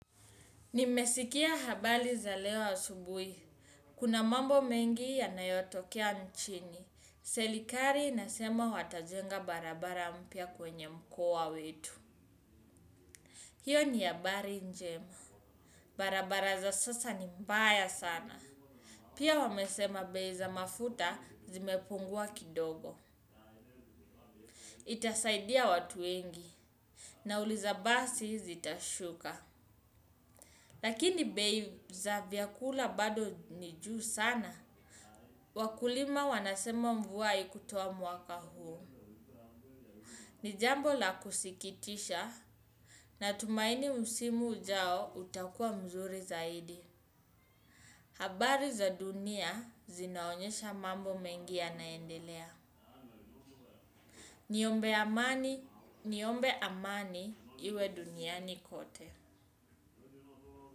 Nimesikia habari za leo asubuhi. Kuna mambo mengi yanayotokea nchini. Serikali inasema watajenga barabara mpya kwenye mkoa wetu. Hiyo ni habari njema. Barabara za sasa ni mbaya sana. Pia wamesema bei za mafuta zimepungua kidogo. Itasaidia watu wengi nauli za basi zitashuka. Lakini bei za vyakula bado ni juu sana. Wakulima wanasema mvu haikutoa mwaka huu. Ni jambo la kusikitisha natumaini msimu ujao utakuwa mzuri zaidi. Habari za dunia zinaonyesha mambo mengi yanaendelea. Niombe amani, niombe amani iwe duniani kote.